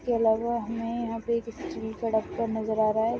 इसके अलावा हमें यहां पे एक स्टील का डब्बा नज़र आ रहा है।